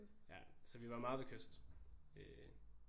Ja så vi var meget ved kyst ved